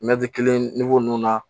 kelen nunnu na